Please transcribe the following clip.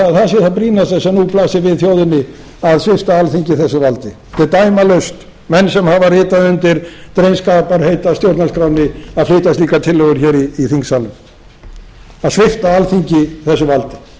að það sé það brýnasta sem nú blasir við þjóðinni að svipta alþingi þessu valdi hve dæmalaust að menn sem hafa ritað undir drengskaparheit að stjórnarskránni að flytja slíkar tillögur hér í þingsalnum að svipta alþingi þessu valdi